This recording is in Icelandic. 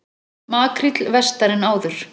Makríll vestar en áður